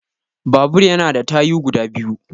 Babur ya na da tayu guda biyu